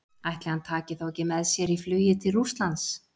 Ætli hann taki þá ekki með sér í flugið til Rússlands?